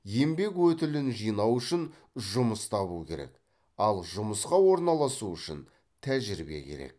еңбек өтілін жинау үшін жұмыс табу керек ал жұмысқа орналасу үшін тәжірибе керек